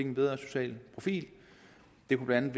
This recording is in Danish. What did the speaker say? en bedre social profil det kunne blandt